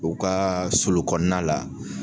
U ka sulu kɔnɔ la